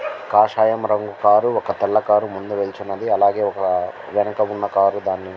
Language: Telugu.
కాషాయం రంగు కారు ఒక తెల్ల రంగు కార్ ముందూ వెళ్ళుచున్నది. అలాగే ఒక వెనక ఉన్న కార్ దాని--